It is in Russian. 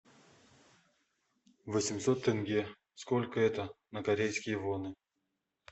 восемьсот тенге сколько это на корейские воны